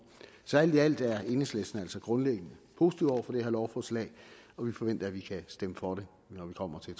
så alt i alt er enhedslisten altså grundlæggende positiv over for det her lovforslag og vi forventer at vi kan stemme for det når vi kommer til